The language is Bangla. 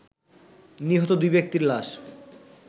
নিহত দুই ব্যক্তির লাশ